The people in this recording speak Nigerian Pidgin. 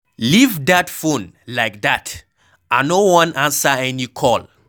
Leave dat phone like dat, I no wan answer any call.